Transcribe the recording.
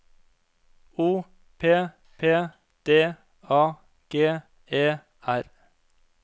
O P P D A G E R